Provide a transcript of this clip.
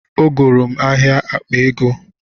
Ọ goro m ahịa akpa ego